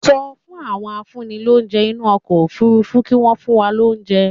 Sọ fún àwọn afúnnilóúnjẹ inú ọkọ̀ Òfurufú kí wọ́n fún wa lóúnjẹ